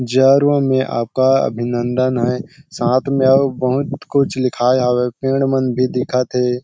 Reserve में आप सबका अभिनंदन है साथ में आऊ बहुत कुछ लिखाय हावय पेड़ मन भी दिखत हे।